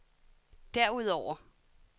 derudover